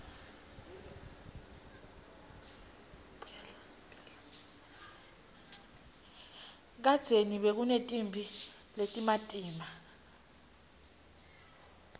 kadzeni bekunetimphi letimatima